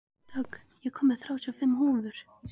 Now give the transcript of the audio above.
Dögg, ég kom með þrjátíu og fimm húfur!